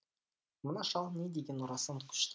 мына шал не деген орасан күшті